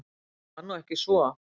Það var nú ekki svo.